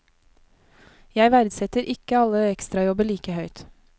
Jeg verdsetter ikke alle ekstrajobber like høyt.